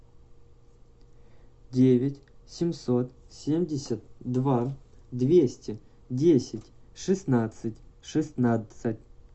девять семьсот семьдесят два двести десять шестнадцать шестнадцать